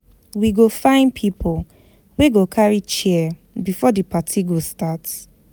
We go find pipo wey go carry chair before di party go start.